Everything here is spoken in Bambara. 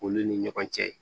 Olu ni ɲɔgɔn cɛ